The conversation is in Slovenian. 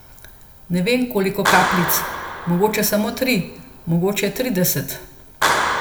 Ne vem, koliko kapljic, mogoče samo tri, mogoče trideset.